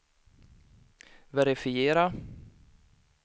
verifiera